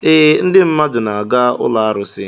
Ee, ndị mmadụ na-aga ụlọ arụsị.